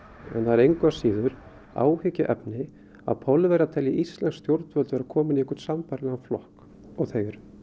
það er engu að síður áhyggjuefni að Pólverjar telji íslensk stjórnvöld vera komin í einhvern sambærilegan flokk og þau eru